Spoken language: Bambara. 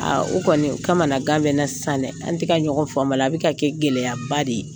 o kɔni o kamanagan bɛ n na sisan an tɛ ka ɲɔgɔn faamu a la bɛ ka kɛ gɛlɛyaba de ye.